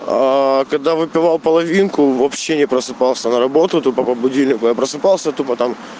когда выпивал половинку вообще не просыпался на работу то по будильнику я просыпался тупо там